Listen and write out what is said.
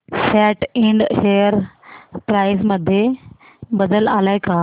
सॅट Ind share price मध्ये बदल आलाय का